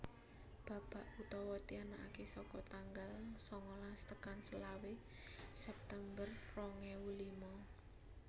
Babak utama dianakaké saka tanggal sangalas tekan selawe September rong ewu lima